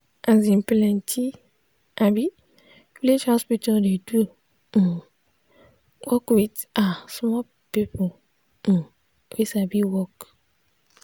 asin plenti um village hospital dey do um work with ah small people um wey sabi work.